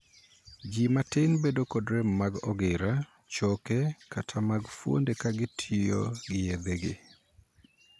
Ji matin bedo kod rem mag ogira, choke, kata mag fuonde ka gitiyogi yedhegi.